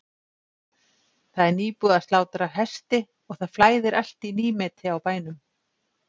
Það er nýbúið að slátra hesti og það flæðir allt í nýmeti á bænum.